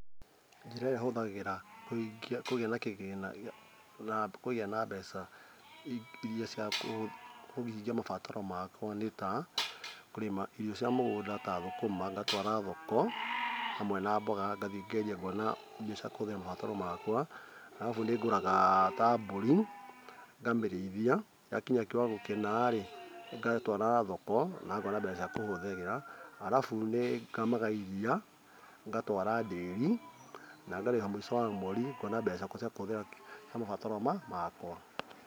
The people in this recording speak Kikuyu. Njĩra ĩrĩa hũthagĩra kũgĩa na kĩgĩna na kũgĩa na mbeca cia kũhingia mabataro makwa nĩ ta kũrĩma irio cia mũgũnda ya thũkũma ngwatwara thoko hamwe na mboga ngathiĩ ngendia ngona mbia cia kũhũthĩra na mabataro makwa arabu nĩ ngũraga ta mbũri ngamĩrĩithia yakinya kĩwango kĩna rĩ ngatwara thoko na ngona mbeca cia kũhũthĩra arabu nĩ ngamaga iria ngatwara ndĩri na ngareha mũico wa mweri ngona mbeca ciakwa cia kũhũthĩra mabataro makwa